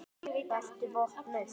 Vertu vopnuð.